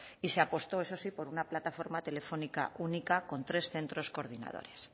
y se ha puesto eso sí por una plataforma telefónica única con tres centros coordinadores